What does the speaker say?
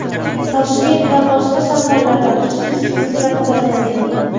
Toshkent va boshqa shaharlarda kuchsiz zilzila kuzatildi.